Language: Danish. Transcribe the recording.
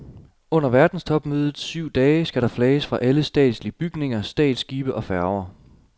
Under verdenstopmødets syv dage skal der flages fra alle statslige bygninger, statsskibe og færger.